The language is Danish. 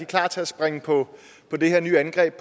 klar til at springe på det her nye angreb